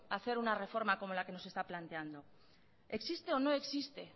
hacer una reforma como la que se nos está planteando existe o no existe